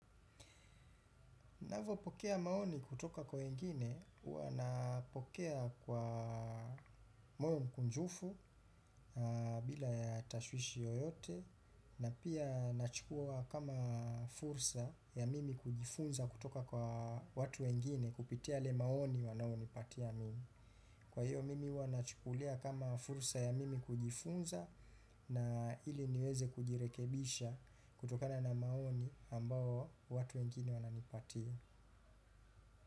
Ninapopokea maoni kutoka kwa wengine, huwa napokea kwa moyo mkunjufu bila ya tashwishi yoyote na pia nachukua kama fursa ya mimi kujifunza kutoka kwa watu wengine kupitia yale maoni wanaonipatia mimi. Kwa hiyo mimi huwa nachukulia kama fursa ya mimi kujifunza na ili niweze kujirekebisha kutokana na maoni ambayo watu wengine wananipatia.